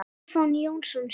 Stefán Jónsson syngur.